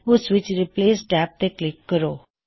ਓਸ ਵਿੱਚ replace tab ਤੇ ਕਲਿੱਕ ਕਰੋ